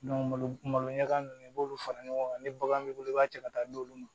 malo malo ɲaga ninnu i b'olu fara ɲɔgɔn kan ni bagan b'i bolo i b'a cɛ ka taa d'olu ma